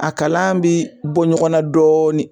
A kalan bi bɔ ɲɔgɔnna dɔɔnin